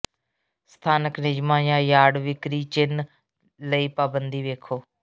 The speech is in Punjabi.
ਸਥਾਨਕ ਨਿਯਮਾਂ ਜਾਂ ਯਾਰਡ ਵਿਕਰੀ ਚਿੰਨ੍ਹ ਲਈ ਪਾਬੰਦੀ ਵੇਖੋ